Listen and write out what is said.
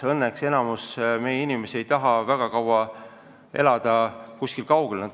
Õnneks enamik meie inimesi ei taha kaua kuskil kaugel elada.